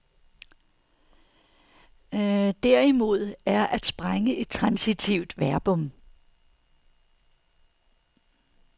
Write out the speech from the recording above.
Derimod er at sprænge et transitivt verbum.